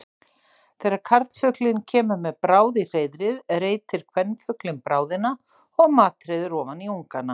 Þegar karlfuglinn kemur með bráð í hreiðrið reitir kvenfuglinn bráðina og matreiðir ofan í ungana.